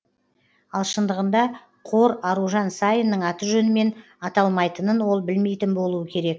ал шындығында қор аружан саинның аты жөнімен аталмайтынын ол білмейтін болуы керек